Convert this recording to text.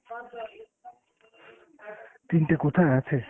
তিনটে কোথায় আছে?